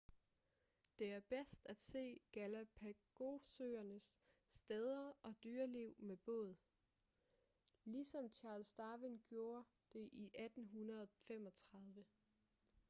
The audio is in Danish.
det er bedst at se galapagosøernes steder og dyreliv med båd ligesom charles darwin gjorde det i 1835